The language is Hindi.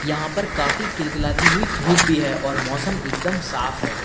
यहां पर काफी खिलखिलाती हुई धूप भी है और मौसम एकदम साफ है।